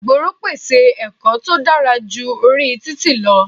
Ìgboro pèsè ẹ̀kọ́ tó dára ju orí títì lọ.